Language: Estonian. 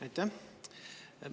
Aitäh!